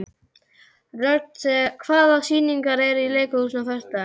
Rögn, hvaða sýningar eru í leikhúsinu á föstudaginn?